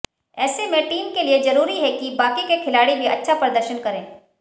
ऐसे में टीम के लिए जरूरी है कि बाकी के खिलाड़ी भी अच्छा प्रदर्शन करें